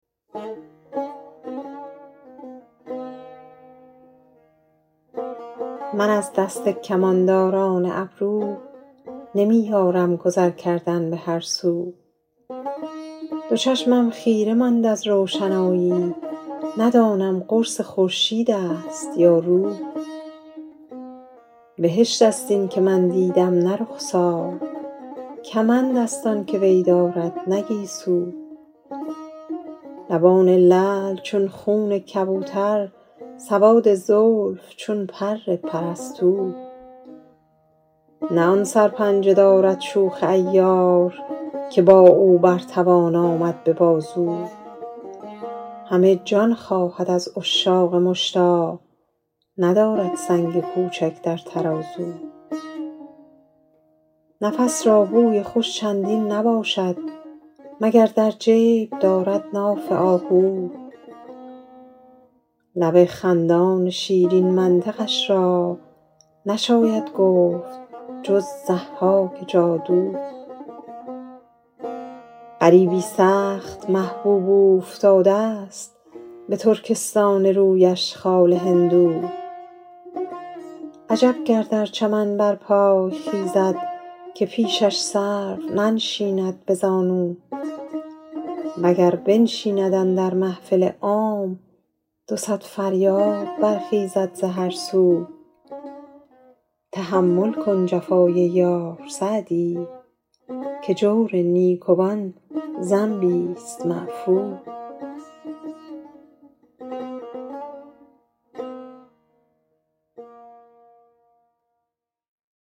من از دست کمانداران ابرو نمی یارم گذر کردن به هر سو دو چشمم خیره ماند از روشنایی ندانم قرص خورشید است یا رو بهشت است این که من دیدم نه رخسار کمند است آن که وی دارد نه گیسو لبان لعل چون خون کبوتر سواد زلف چون پر پرستو نه آن سرپنجه دارد شوخ عیار که با او بر توان آمد به بازو همه جان خواهد از عشاق مشتاق ندارد سنگ کوچک در ترازو نفس را بوی خوش چندین نباشد مگر در جیب دارد ناف آهو لب خندان شیرین منطقش را نشاید گفت جز ضحاک جادو غریبی سخت محبوب اوفتاده ست به ترکستان رویش خال هندو عجب گر در چمن برپای خیزد که پیشش سرو ننشیند به زانو و گر بنشیند اندر محفل عام دو صد فریاد برخیزد ز هر سو به یاد روی گل بوی گل اندام همه شب خار دارم زیر پهلو تحمل کن جفای یار سعدی که جور نیکوان ذنبیست معفو